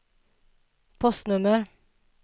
postnummer